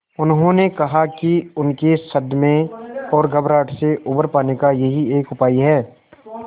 उन्होंने कहा कि उनके सदमे और घबराहट से उबर पाने का यही एक उपाय है